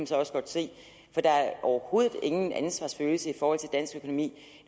så også godt se for der er overhovedet ingen ansvarsfølelse i forhold til dansk økonomi